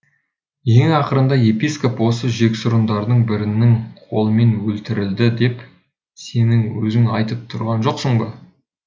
ең ақырында епископ осы жексұрындардың бірінің қолымен өлтірілді деп сенің өзің айтып тұрған жоқсын ба